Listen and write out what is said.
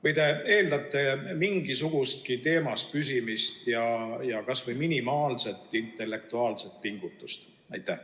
Või te eeldate mingisugustki teemas püsimist ja kas või minimaalset intellektuaalset pingutust?